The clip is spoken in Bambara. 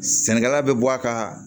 Sɛnɛkɛla bɛ bɔ a ka